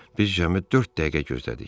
Biz cəmi dörd dəqiqə gözlədik.